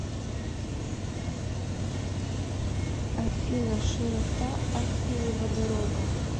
афина широта аппиева дорога